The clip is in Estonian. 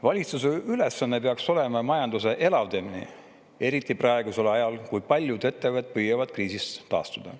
Valitsuse ülesanne peaks olema majanduse elavdamine, eriti praegusel ajal, kui paljud ettevõtted püüavad kriisist taastuda.